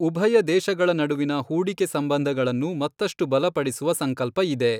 ಉಭಯ ದೇಶಗಳ ನಡುವಿನ ಹೂಡಿಕೆ ಸಂಬಂಧಗಳನ್ನು ಮತ್ತಷ್ಟು ಬಲಪಡಿಸುವ ಸಂಕಲ್ಪಇದೆ.